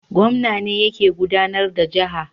Gwamna ne yake gudAnar da jaha